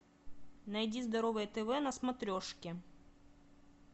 найди здоровое тв на смотрешке